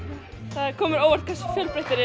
það kom mér á óvart hversu fjölbreyttir